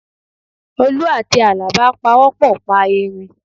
Olú àti Àlàbá pawọ́pọ̀ pa erin